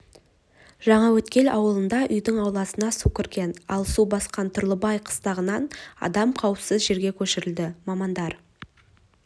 жаңаөткел ауылында үйдің ауласына су кірген ал су басқан тұрлыбай қыстағынан адам қауіпсіз жерге көшірілді мамандар